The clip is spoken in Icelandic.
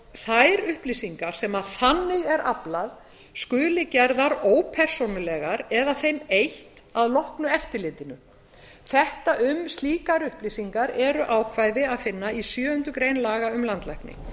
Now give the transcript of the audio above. þær upplýsingar sem þannig er aflað skuli gerðar ópersónulegar eða þeim eytt að loknu eftirlitinu um slíkar upplýsingar er ákvæði að finna í sjöundu grein laga um landlækni